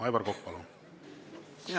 Aivar Kokk, palun!